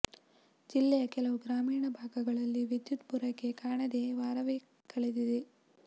ಜಿಲ್ಲೆಯ ಕೆಲವು ಗ್ರಾಮೀಣ ಭಾಗಗಳಲ್ಲಿ ವಿದ್ಯುತ್ ಪೂರೈಕೆ ಕಾಣದೆ ವಾರವೇ ಕಳೆದಿದೆ